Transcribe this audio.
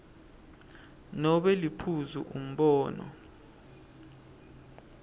nobe liphuzu umbono